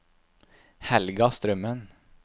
Helga Strømmen